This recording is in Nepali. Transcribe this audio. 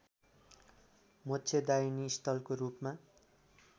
मोक्षदायिनी स्थलको रूपमा